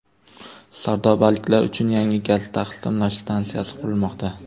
Sardobaliklar uchun yangi gaz taqsimlash stansiyasi qurilmoqda.